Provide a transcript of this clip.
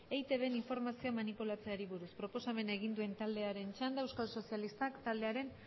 eitbn informazioa manipulatzeari buruz proposamena egin duen taldearen txanda euskal sozialistak taldearen